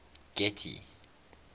getty